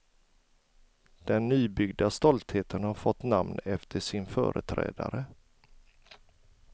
Den nybyggda stoltheten har fått namn efter sin företrädare.